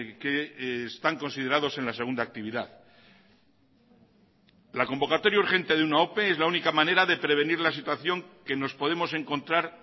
que están considerados en la segunda actividad la convocatoria urgente de una ope es la única manera de prevenir la situación que nos podemos encontrar